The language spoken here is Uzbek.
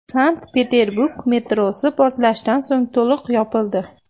Sankt-Peterburg metrosi portlashdan so‘ng to‘liq yopildi.